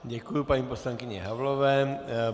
Děkuji paní poslankyni Havlové.